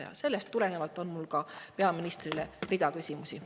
Kõigest sellest tulenevalt on mul peaministrile ridamisi küsimusi.